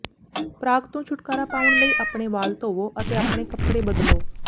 ਪਰਾਗ ਤੋਂ ਛੁਟਕਾਰਾ ਪਾਉਣ ਲਈ ਆਪਣੇ ਵਾਲ ਧੋਵੋ ਅਤੇ ਆਪਣੇ ਕੱਪੜੇ ਬਦਲੋ